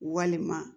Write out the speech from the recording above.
Walima